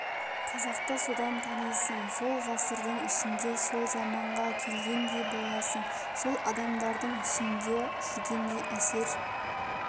қазақты содан танисың сол ғасырдың ішінде сол заманға келгендей боласың сол адамдардың ішінде жүргендей әсер